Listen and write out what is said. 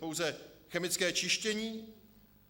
Pouze chemické čištění?